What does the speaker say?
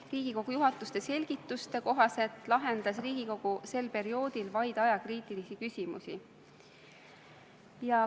Riigikogu juhatuse selgituste kohaselt lahendas Riigikogu sel perioodil vaid ajakriitilisi küsimusi.